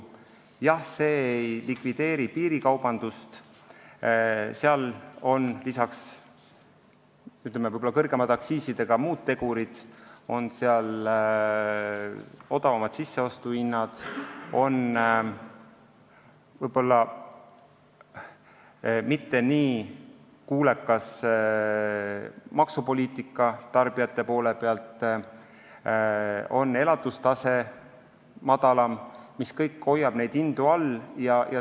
Jah, see ei likvideeri piirikaubandust, sest seal on peale aktsiiside mängus veel muud tegurid – odavamad sisseostuhinnad, võib-olla mitte nii kuulekas maksupoliitika tarbijate poole pealt ja ka madalam elatustase –, mis kõik hoiavad hindu all.